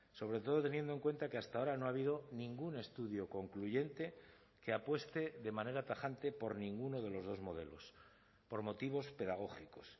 sobre todo teniendo en cuenta que hasta ahora no ha habido ningún estudio concluyente que apueste de manera tajante por ninguno de los dos modelos por motivos pedagógicos